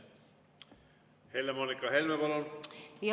Helle-Moonika Helme, palun!